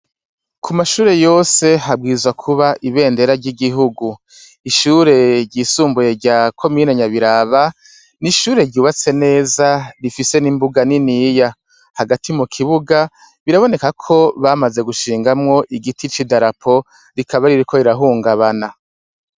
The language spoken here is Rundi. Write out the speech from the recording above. Ku mashure yose habwirizwa kuba ibendera ry'igihugu. Ishure ryisumbuye rya komine Nyabiraba ni ishure ryubatse neza rifise n'imbuga niniya hagati mu kibuga biraboneka neza ko bamaze gushingamwo igiti c'idarapo rikaba ririko rirahungabana.